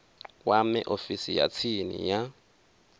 kwame ofisi ya tsini ya